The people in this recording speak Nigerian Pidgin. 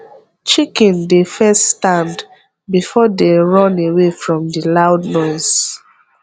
chicken dey first stand before dey run away from the loud noise